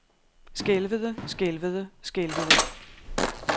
skælvede skælvede skælvede